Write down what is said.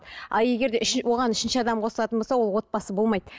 а егер де үш оған үшінші адам қосылатын болса ол отбасы болмайды